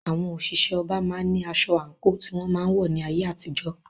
Àwọn òṣìṣẹ́ ọba máa ń ní aṣọ/àǹkò tí wọ́n máa ń wọ̀ ní ayé àtijó.